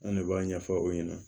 An ne b'a ɲɛfɔ aw ɲɛna